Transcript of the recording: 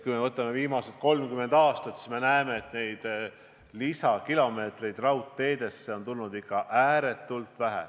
Kui vaatame viimast 30 aastat, siis näeme, et neid lisakilomeetreid on raudteedesse tulnud ikka ääretult vähe.